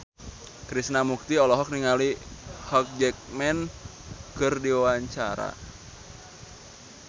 Krishna Mukti olohok ningali Hugh Jackman keur diwawancara